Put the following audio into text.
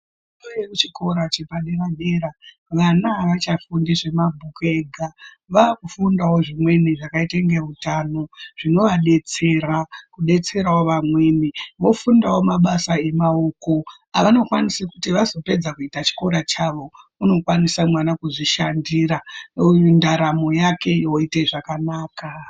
Kune chikora chepadera dera vana haachafundi zvemabhuku ega. Vakufundawo zvimweni zvakaite ngeutano, zvinoadetsera kubetserawo vamweni. Vofundawo mabasa emaoko avanokwanisa kuti vazopedza kuita chikora chavo, unokwanisa mwana kuzvishandira ndaramo yake yoite zvakanaka.